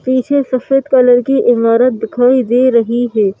पीछे सफेद कलर की इमारत दिखाई दे रही है।